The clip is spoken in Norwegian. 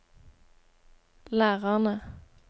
lærerne